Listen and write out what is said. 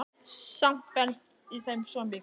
Samt felst í þeim svo mikið.